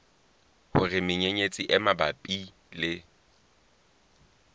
hore menyenyetsi e mabapi le